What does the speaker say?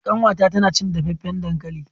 kanwata tana cin dafaffen dankali.